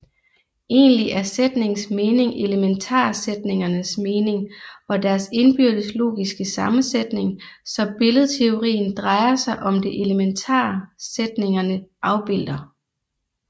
Egentlig er sætningens mening elementarsætningernes mening og deres indbyrdes logiske sammensætning så billedteorien drejer sig om det elementarsætningerne afbilder